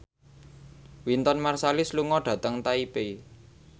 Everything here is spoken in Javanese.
Wynton Marsalis lunga dhateng Taipei